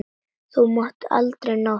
Þú munt aldrei ná þér.